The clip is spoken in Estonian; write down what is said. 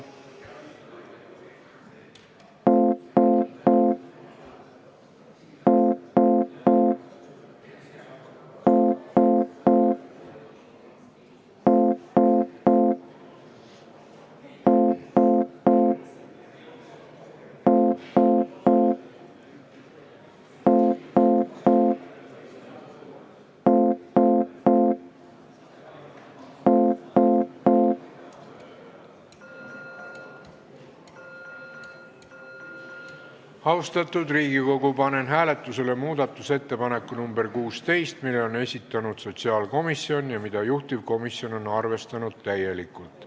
Austatud Riigikogu, panen hääletusele muudatusettepaneku nr 16, mille on esitanud sotsiaalkomisjon ja mida juhtivkomisjon on arvestanud täielikult.